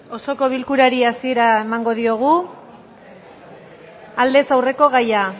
osoko bilkurari hasiera emango diogu aldez aurreko gaia